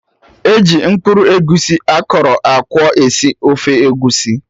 E ji mkpụrụ egusi akọrọ akwọ esi ofe egusi